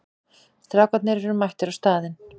Strákarnir eru mættir á staðinn.